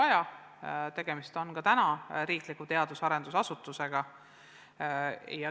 Juba praegu on inspektsiooni näol tegemist riikliku teadus- ja arendusasutusega.